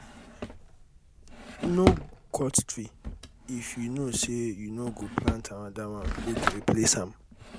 no cut tree if you know say you no go plant another one wey go replace am